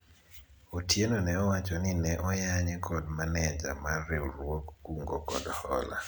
Otieno ne owacho ni ne oyanye kod maneja mar riwruog kungo kod hola